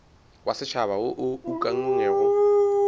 wa setšhaba wo o ukangwego